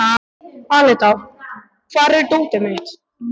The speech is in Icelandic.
Aletta, hvar er dótið mitt?